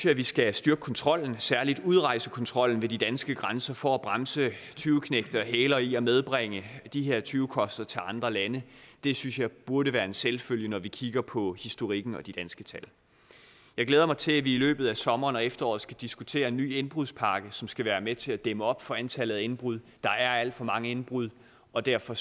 at vi skal styrke kontrollen særlig udrejsekontrollen ved de danske grænser for at bremse tyveknægte og hælere i at medbringe de her tyvekoster til andre lande det synes jeg burde være en selvfølge når vi kigger på historikken og de danske tal jeg glæder mig til at vi i løbet af sommeren og efteråret skal diskutere en ny indbrudspakke som skal være med til at dæmme op for antallet af indbrud der er alt for mange indbrud og derfor